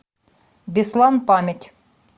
беслан память